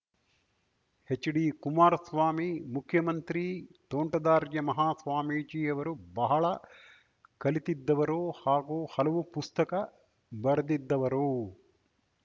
HD Kumaraswamy ಮುಖ್ಯಮಂತ್ರಿ ತೋಂಟದಾರ್ಯ ಮಹಾಸ್ವಾಮೀಜಿ ಯವರು ಬಹಳ ಕಲಿತಿದ್ದವರು ಹಾಗೂ ಹಲವು ಪುಸ್ತಕ ಬರೆದಿದ್ದವರು